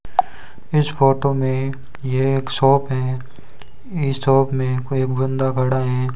इस फोटो में ये एक शॉप है इस शॉप में कोई एक बंदा खड़ा हैं।